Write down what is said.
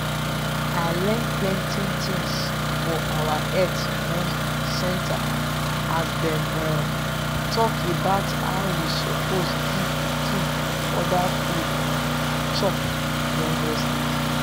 i learn plenty things for our health um centre as them um talk about how we suppose give pikin other food um chop join breast milk.